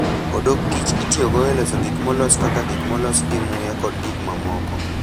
Odok kich itiyogo e loso gik molos kaka gik molos gi muya kod gik mamoko.